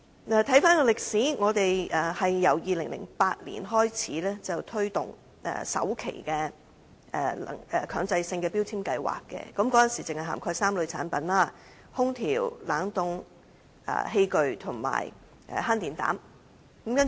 回顧歷史，本港在2008年推行首階段的強制性能源效益標籤計劃，當時只涵蓋3類產品，即空調、冷凍器具及慳電膽。